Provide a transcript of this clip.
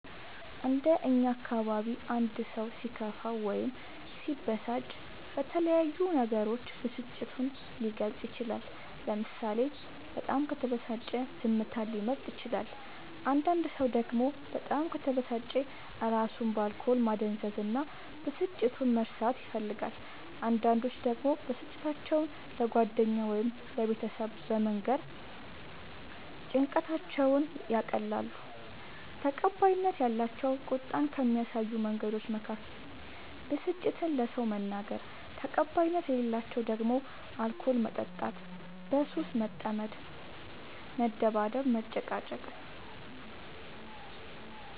እንደ እኛ አካባቢ አንድ ሰው ሲከፋው ወይም ሲበሳጭ በተለያዩ ነገሮች ብስጭቱን ሊገልፅ ይችላል ለምሳሌ በጣም ከተበሳጨ ዝምታን ሊመርጥ ይችላል አንዳንድ ሰው ደግሞ በጣም ከተበሳጨ እራሱን በአልኮል ማደንዘዝ እና ብስጭቱን መርሳት ይፈልጋል አንዳንዶች ደግሞ ብስጭታቸው ለጓደኛ ወይም ለቤተሰብ በመንገር ጭንቀታቸውን ያቀላሉ። ተቀባይነት ያላቸው ቁጣን ከሚያሳዩ መንገዶች መካከል ብስጭትን ለሰው መናገር ተቀባይነት የሌላቸው ደግሞ አልኮል መጠጣት በሱስ መጠመድ መደባደብ መጨቃጨቅ